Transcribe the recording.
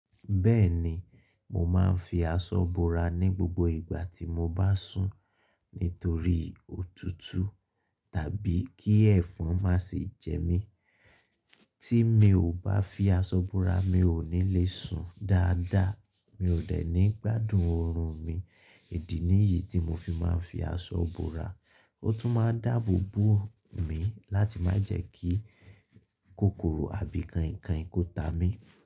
Bẹ́ẹ̀ni, mo máa ń fi aṣọ bora ní gbogbo ìgbà tí mo bá sùn nítorí òtútù tàbí kí ẹ̀fọn má ṣe jẹ mí. Tí mi ò bá fi aṣọ bora, mi ò ní le sùn dáadáa, mi ò de ní gbádùn oorun mi. Ìdí nìyí tí mo fi máa ń fi aṣọ bora. Ó tún máa ń dáàbò bo mi láti má jẹ́ kí kòkòrò àbí kainkain kó ta mí.